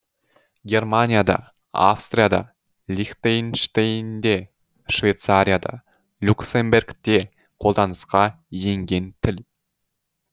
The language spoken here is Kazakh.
германияда австрияда лихтенштейнде швейцарияда люксембергте қолданысқа енген тіл